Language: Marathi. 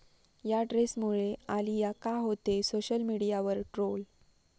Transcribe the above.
या ड्रेसमुळे आलिया का होतेय सोशल मीडियावर ट्रोल?